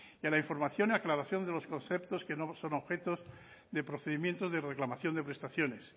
y a la información y aclaración de los conceptos que no son objetos de procedimientos de reclamación de prestaciones